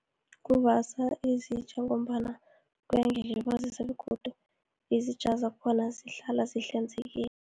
Ukuvasa izitja, ngombana kuyangilibazisa, begodu izitja zakhona zihlala zihlanzekile.